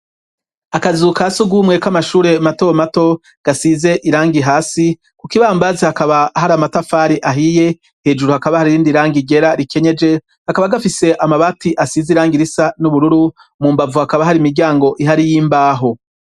Akazu ka sugumwe k'amashure matomato gasize iranga hasi ku kibambazi hakaba hari amatafari ahiye hejuru hakaba hari irindi rangi ryera rikenyeje kakaba gafise amabati asize iranga risa n'ubururu mu mbavu hakaba hari imiryango ihari y'imbaho.